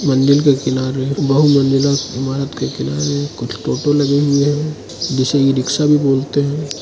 मंदिर के किनारे बहुमंजिला इमारत के किनारे कुछ टोटो लगे हुए हैं जिसे ई_रिक्शा भी बोलते हैं।